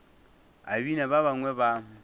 a bina ba bangwe ba